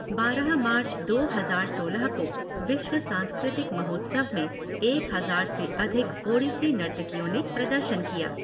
बारह मार्च दो हज़ार सोलह को विश्व सांस्कृतिक महोत्सव में एक हज़ार से अधिक ओड़िसी नर्तकियों ने प्रदर्शन किया।